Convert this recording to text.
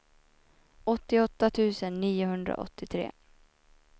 åttioåtta tusen niohundraåttiotre